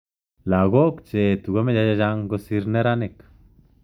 Lagok che etu komeche chechang kosir neranik.